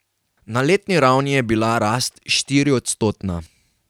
Na letni ravni je bila rast štiriodstotna.